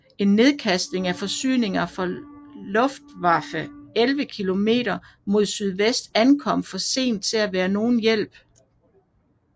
En nedkastning af forsyninger fra Luftwaffe 11 km mod sydvest ankom for sent til at være nogen hjælp